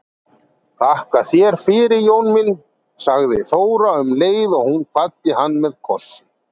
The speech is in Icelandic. Þakka þér fyrir Jón minn, sagði Þóra um leið og hún kvaddi hann með kossi.